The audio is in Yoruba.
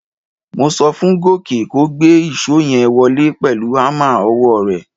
Mo so fún Gòkè kó gba ìṣó yẹn wọlé pẹ̀lú hámà ọwọ́ rẹ̀.